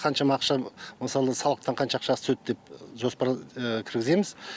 қаншама ақшаны мысалы салықтан қанша ақша түседі деп жоспарға кіргіземіз